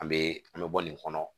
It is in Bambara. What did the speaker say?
An be an be bɔ nin kɔnɔ